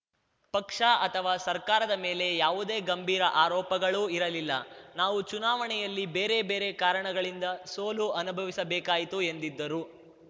ಪಕ್ಷ ಅಥವಾ ಸರ್ಕಾರದ ಮೇಲೆ ಯಾವುದೇ ಗಂಭೀರ ಆರೋಪಗಳೂ ಇರಲಿಲ್ಲ ನಾವು ಚುನಾವಣೆಯಲ್ಲಿ ಬೇರೆ ಬೇರೆ ಕಾರಣಗಳಿಂದ ಸೋಲು ಅನುಭವಿಸಬೇಕಾಯಿತು ಎಂದರು